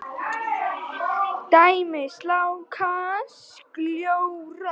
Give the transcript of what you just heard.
Dæmi: sljákka, sljór.